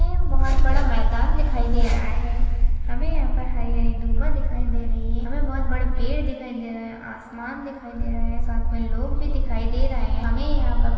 हमे बहुत बड़ा मैदान दिखाई दे रहा है हमे यहा पर हरी-हरी दुभा दिखाई दे रही है हमे बहुत बड़े पेड़ दिखाई दे रही है आसमान दिखाई दे रहा है साथ मे लोग भी दिखाई दे रही है हमे यहा पर --